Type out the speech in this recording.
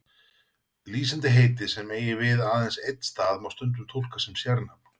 Lýsandi heiti sem eiga við aðeins einn stað má stundum túlka sem sérnafn.